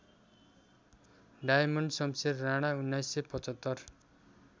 Diamond Shumsher Rana १९७५